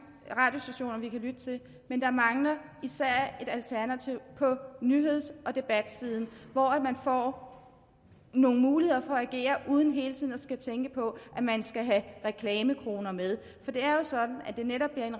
radiostationer som vi kan lytte til men der mangler især et alternativ på nyheds og debatsiden hvor man får nogle muligheder for at agere uden hele tiden at skulle tænke på at man skal have reklamekroner med for det er jo sådan at det netop bliver en